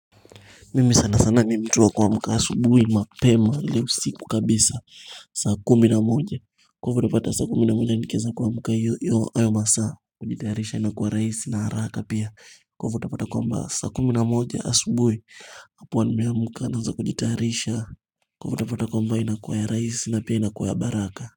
Mimi sana sana ni mtu wa kuamka asubuhi mapema ile usiku kabisa saa kumi na moja Kwa hivo utapata saa kumi na moja nikieza kuamka iyo hayo ayo masaa kujitayarisha inakuwa rahisi na haraka pia kwa hivyo utapata kwamba saa kumi na moja asubuhi nakuwa nimeamka naanza kujitayarisha Kufutapata kwa mba inakuwa ya rahisi na pia inakuwa ya baraka.